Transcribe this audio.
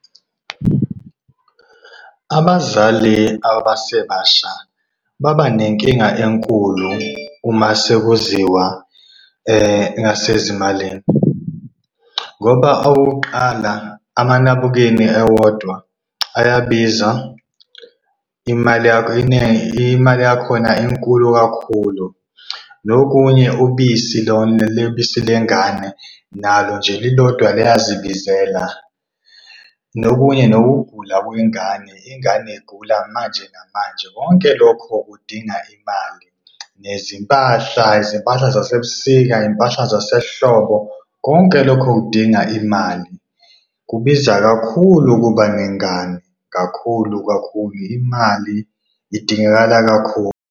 Abazali abasebasha babanenkinga enkulu uma sekuziwa ngasezimalini ngoba okokuqala amanabukeni ewodwa ayabiza imali yakhona inkulu kakhulu. Nokunye ubisi lona ubisi lengane nalo nje lilodwa liyazibizela, nokunye nokugula kwengane ingane igula manje namanje konke lokho kudinga imali. Nezimpahla, izimpahla zasebusika, iy'mpahla zasehlobo, konke lokho kudinga imali. Kubiza kakhulu ukuba nengane kakhulu, kakhulu. Imali idingakala kakhulu.